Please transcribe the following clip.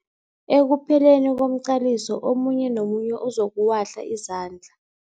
Ekupheleni komqaliso omunye nomunye uzokuwahla izandla.